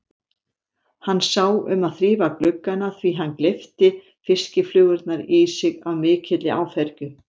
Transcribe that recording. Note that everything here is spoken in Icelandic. Hann sá um að þrífa gluggana því hann gleypti fiskiflugurnar í sig af mikilli áfergju.